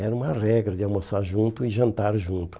Era uma regra de almoçar junto e jantar junto.